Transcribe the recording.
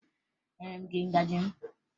Enyere m gị ngaji m?